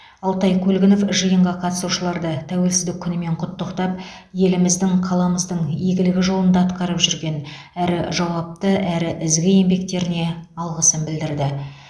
алтай көлгінов жиынға қатысушыларды тәуелсіздік күнімен құттықтап еліміздің қаламыздың игілігі жолында атқарып жүрген әрі жауапты әрі ізгі еңбектеріне алғысын білдірді